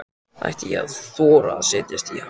Ætti ég að þora að setjast í hann?